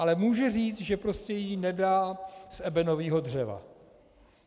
Ale může říct, že prostě ji nedá z ebenového dřeva.